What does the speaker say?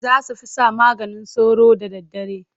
Za su fesa maganin sauro da daddare.